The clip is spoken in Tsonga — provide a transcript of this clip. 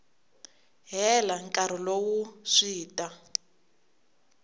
hela nkarhi lowu swi ta